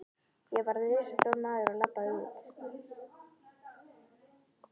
Ég varð risastór maður og labbaði út.